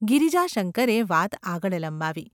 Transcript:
’ ગિરિજાશંકરે વાત આગળ લંબાવી.